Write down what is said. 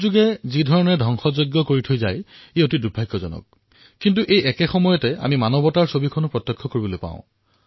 দুৰ্যোগসমূহে যিদৰে ক্ষতি কৰে ঠিক সেইদৰে সেই দুৰ্যোগত মানৱতাৰ দৰ্শনো প্ৰাপ্ত হয়